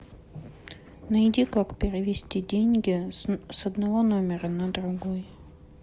найди как перевести деньги с одного номера на другой